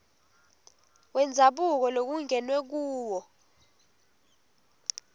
wendzabuko lokungenwe kuwo